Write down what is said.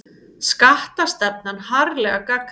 Skattastefnan harðlega gagnrýnd